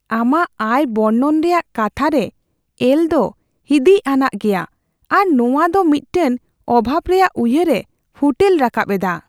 ᱟᱢᱟᱜ ᱟᱭ ᱵᱚᱨᱱᱚᱱ ᱨᱮᱭᱟᱜ ᱠᱟᱛᱷᱟ ᱨᱮ ᱮᱞ ᱫᱚ ᱦᱤᱸᱫᱤᱡ ᱟᱱᱟᱜ ᱜᱮᱭᱟ, ᱟᱨ ᱱᱚᱶᱟ ᱫᱚ ᱢᱤᱫᱴᱟᱝ ᱚᱵᱷᱟᱵᱽ ᱨᱮᱭᱟᱜ ᱩᱭᱦᱟᱹᱨ ᱮ ᱯᱷᱩᱴᱮᱞ ᱨᱟᱠᱟᱵ ᱮᱫᱟ ᱾